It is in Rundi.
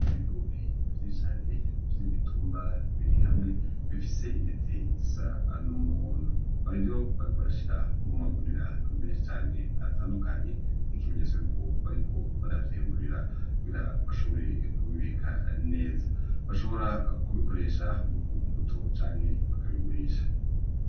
Ibigori vyinshi cane vy'imitumba biri hamwe bifise intete zisa n'umuhondo, ninavyo bariko barashira mu magunira menshi cane atandukanye nk'ikimenyetso yuko bariko baravyimburiramwo kugira bashobore kubibika neza, bashobora kubikoresha ku mbuto canke bakabigurisha.